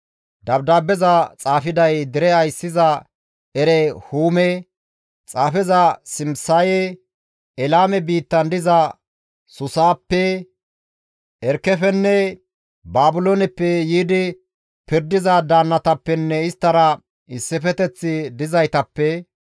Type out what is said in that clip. «Dabdaabbeza xaafiday dere ayssiza Erehuume, xaafeza Simisaye, Elaame biittan diza Suusappe, Erkefenne Baabilooneppe yiidi pirdiza daannatappenne isttara issifeteththi dizaytappe,